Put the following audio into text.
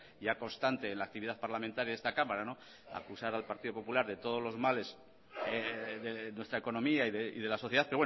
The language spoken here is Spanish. ya constante en la actividad parlamentaria de esta cámara acusar al partido popular de todos los males de nuestra economía y de la sociedad